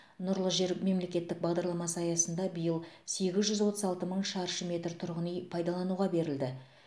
нұрлы жер мемлекеттік бағдарламасы аясында биыл сегіз жүз отыз алты мың шаршы метр тұрғын үй пайдалануға берілді